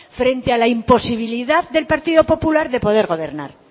frente a la imposibilidad del partido popular de poder gobernar